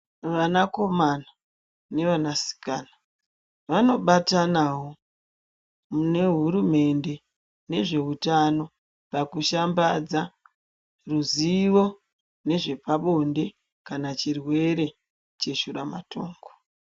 Vanakomana nevana sikana vanobatanavo mune hurumende nezvehutano. Pakushambadza ruzivo nezvepabonde kana chirwere cheshura matongo.